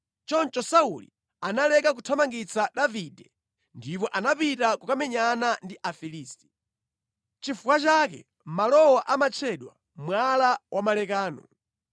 Choncho Sauli analeka kuthamangitsa Davide ndipo anapita kukamenyana ndi Afilisti. Nʼchifukwa chake malowa amatchedwa Mwala wa Malekano.